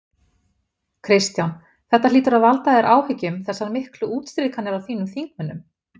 Kristján: Þetta hlýtur að valda þér áhyggjum þessar miklu útstrikanir á þínum þingmönnum?